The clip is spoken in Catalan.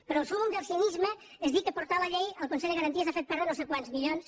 però el súmmum del cinisme és dir que portar la llei al consell de garanties ha fet perdre no sé quants milions